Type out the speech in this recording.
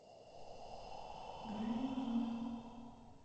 грайворона